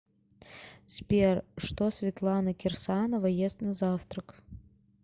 сбер что светлана кирсанова ест на завтрак